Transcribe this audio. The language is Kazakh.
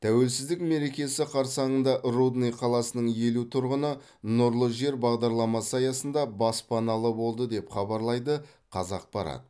тәуелсіздік мерекесі қарсаңында рудный қаласының елу тұрғыны нұрлы жер бағдарламасы аясында баспаналы болды деп хабарлайды қазақпарат